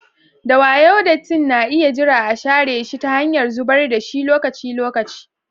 Da wayo, dattin na iya jira a share shi ta hanyar zubar da shi lokaci-lokaci.